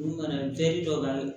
Olu ka na dɔ kan